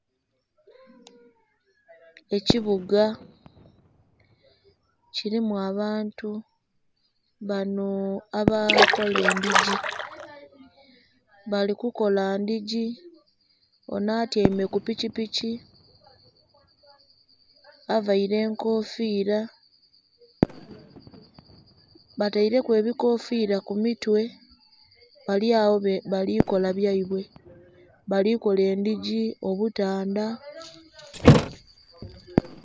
Ekibuga kirimu abantu banhoo abakola edhigi, bali kukola edhigi onho atyaime kupiki piki, avaire enkofiira, batereku ebikofira kumitwe balyagho balikola byeibwe, balikola edhigi, obutundha.